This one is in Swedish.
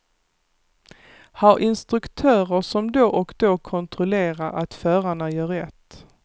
Ha instruktörer som då och då kontrollerar att förarna gör rätt.